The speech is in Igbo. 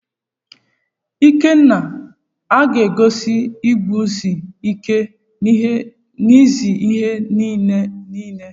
Ikenna aga-egosi iguzosi ike n'ezi ihe n'ihe niile?